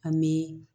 An bɛ